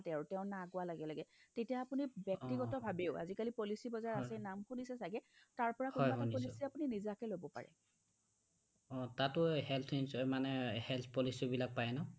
তেওঁ না কোৱা লগে লগে তেতিয়া আপুনি ব্যক্তিগতভাৱেও আজিকালি policy বজাৰ আছে নাম শুনিছে ছাগে তাৰপৰা কোনোবা এটা policy নিজাকে ল'ব পাৰে অ তাতো health ইন্চু মানে এ health policy পাই নঅ